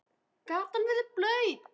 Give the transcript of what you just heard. Gatan verður blaut.